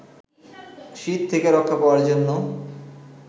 শীত থেকে রক্ষা পাওয়ার জন্য